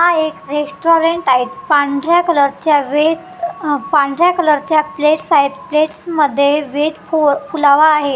हा एक रेस्टॉरंट आहे पांढऱ्या कलरच्या वेथ अ पांढऱ्या कलरच्या प्लेट्स आहेत प्लेट्समध्ये व्हेज पुलाव आहे आ--